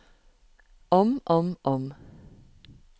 om om om